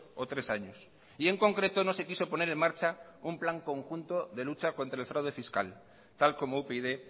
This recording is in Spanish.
o tres años y en concreto no se quiso poner en marcha un plan conjunto de lucha contra el fraude fiscal tal como upyd